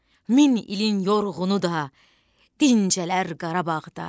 Min ilin yorğunu da dincələr Qarabağda.